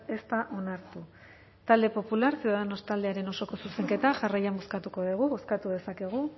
ez da onartu talde popular ciudadanos taldearen osoko zuzenketa jarraian bozkatu dugu bozkatu dezakegu